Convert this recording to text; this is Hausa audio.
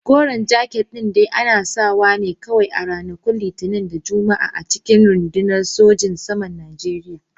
Koren jaket din dai ana sawa ne kawai a ranakun Litinin da Juma'a a cikin rundunar sojojin saman Najeriya.